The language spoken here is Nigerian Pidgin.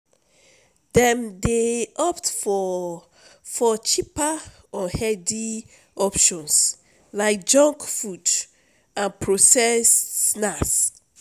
dem dey opt for for cheaper unhealthy options like junk food and processed snacks.